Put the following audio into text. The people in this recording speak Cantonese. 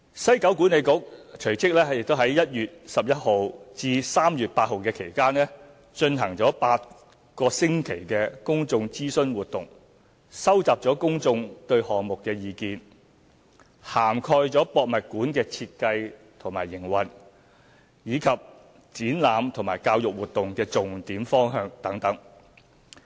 西九管理局隨即於1月11日至3月8日期間，進行8星期公眾諮詢活動，收集公眾對項目的意見，涵蓋故宮館的設計和營運，以及展覽和教育活動的重點方向等。